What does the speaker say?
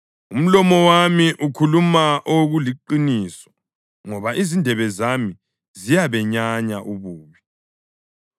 Umlomo wami ukhuluma okuliqiniso, ngoba izindebe zami ziyabenyanya ububi.